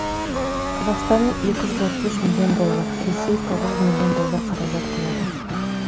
қазақстан екі жүз отыз үш миллион доллар ресей тоғыз жүз миллион доллар қаражат құяды